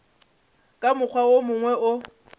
ka mokgwa wo mongwe o